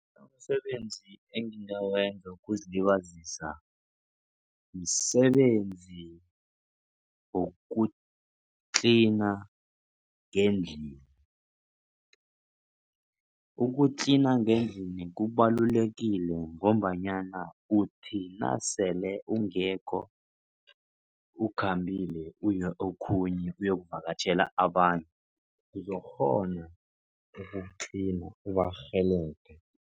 Umsebenzi engingawenza wokuzilibazisa msebenzi wokutlina ngendlini. Ukutlina ngendlini kubalulekile ngombanyana uthi nasele ungekho ukhambile uye okhunye, uyokuvakatjhela abantu uzokukghona ukutlina ubarhelebhe.